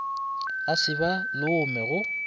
a se ba lome go